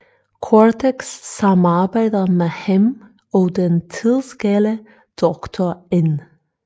Cortex samarbejder med ham og den tidsgale Doktor N